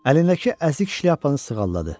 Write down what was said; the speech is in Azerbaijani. Əlindəki əzik şlyapanı sığalladı.